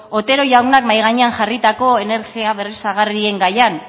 otero jaunak mahai gainean jarritako energia berriztagarrien gaian